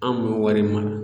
An m'o wari mara